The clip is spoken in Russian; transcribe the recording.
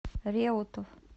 реутов